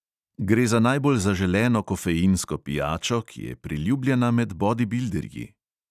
Gre za najbolj zaželeno kofeinsko pijačo, ki je priljubljena med bodibilderji.